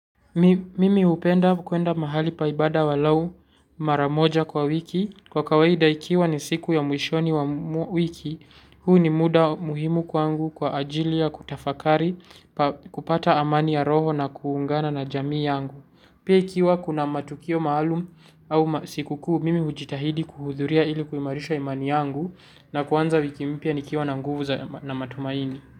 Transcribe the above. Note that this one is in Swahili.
Mimi hupenda kuenda mahali pa ibada angalau mara moja kwa wiki. Kwa kawaida ikiwa ni siku ya mwishoni wa wiki, huu ni muda muhimu kwangu kwa ajili ya kutafakari kupata amani ya roho na kuungana na jamii yangu. Pia ikiwa kuna matukio maalum au siku kuu mimi hujitahidi kuhudhuria ili kuimarisha imani yangu na kuanza wiki mpya nikiwa na nguvu za na matumaini.